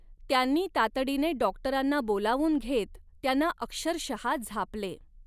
त्यांनी तातडीने डॉक्टरांना बोलावून घेत त्यांना अक्षरशः झापले.